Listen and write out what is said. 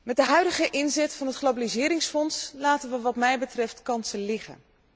Met de huidige inzet van het globaliseringsfonds laten we wat mij betreft kansen liggen.